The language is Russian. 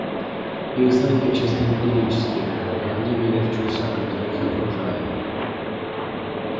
их знания чисто эмпирические но они верят в чудеса которые их окружают